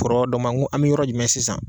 Kɔrɔ dɔ ma, n ko an bɛ yɔrɔ jumɛn sisan ?